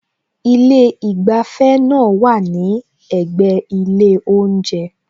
Ilé ìgbafẹ́ náà wá à ní ẹ̀gbẹ́ ilé oúnjẹ